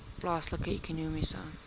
plaaslike ekonomiese